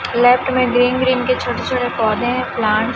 left में green green के छोटे -छोटे पौधे है प्लांट --